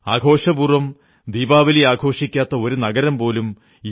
ആഘോഷപൂർവ്വം ദീപാവലി കൊണ്ടാടാത്ത ഒരു നഗരം പോലും യു